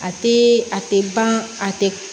A tɛ a tɛ ban a tɛ